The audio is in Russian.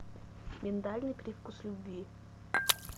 миндальный привкус любви